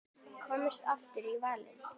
Komist ofar á völlinn?